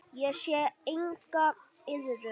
Ég sé enga iðrun.